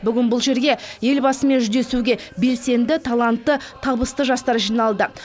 бүгін бұл жерге елбасымен жүздесуге белсенді талантты табысты жастар жиналды